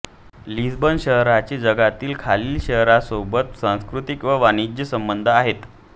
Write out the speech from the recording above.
Lisbon शहराचे जगातील खालील शहरांसोबत सांस्कृतिक व वाणिज्य संबंध आहेत